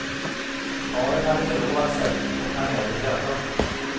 Paret hade förlovat sig och planerade bröllop.